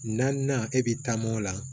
Naaninan e bi taa mo la